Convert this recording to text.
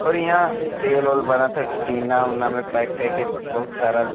और इहाँ तेल ओल बनता। टीना ओना में पैक कइके बहुत सारा --